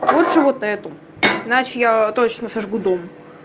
лучше вот эту иначе я точно сожгу дом